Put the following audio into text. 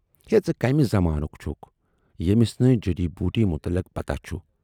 ""ہے ژٕ کمہِ زمانُک چھُکھ، ییمِس نہٕ جڈی بوٗٹی مُتلق پتاہ چھُ۔